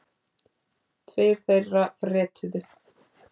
Tveir þeirra fretuðu.